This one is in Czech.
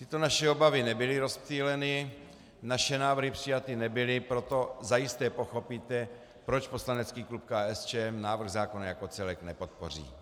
Tyto naše obavy nebyly rozptýleny, naše návrhy přijaty nebyly, proto zajisté pochopíte, proč poslanecký klub KSČM návrh zákona jako celek nepodpoří.